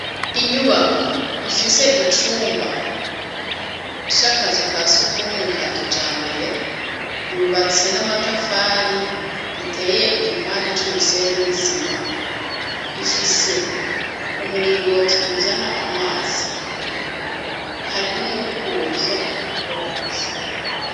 Inyubako ifise icumba c'akazu ka sugumwe ka kijambere, yubatse n'amatafari iteye igipande c'umusenyi n'isima, ifise umuringoti uzana amazi, hari n'umukubuzo wo gukora isuku.